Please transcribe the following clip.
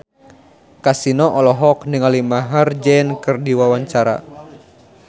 Kasino olohok ningali Maher Zein keur diwawancara